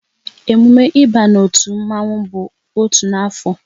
Emume ịba n'otu mmanwu bụ otu n'afọ